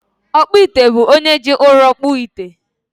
Ọkpụite bụ onye ji ụrọ kpụọ ite